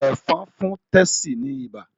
Ẹ̀fọ̀n fún Tessy ní ibà